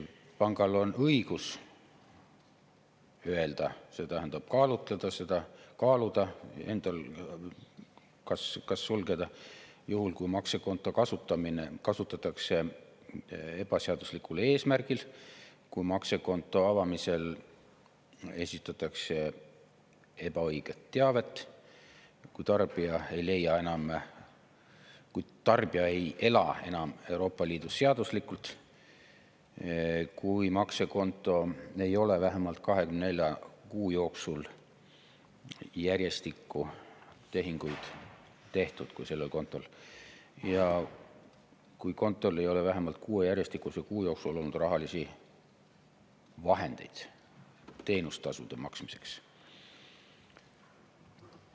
Pangal on õigus kaaluda, kas sulgeda, juhul kui maksekontot kasutatakse ebaseaduslikul eesmärgil, kui maksekonto avamisel esitatakse ebaõiget teavet, kui tarbija ei ela enam Euroopa Liidus seaduslikult, kui maksekontol ei ole vähemalt 24 järjestikuse kuu jooksul tehinguid tehtud ja kui kontol ei ole vähemalt 6 järjestikuse kuu jooksul olnud rahalisi vahendeid teenustasude maksmiseks.